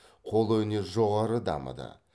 қолөнер жоғары дамыды